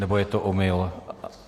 Nebo je to omyl?